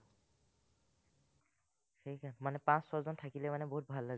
মানে পাঁচ-ছজন থাকিলে ভাল মানে বহুত লাগে।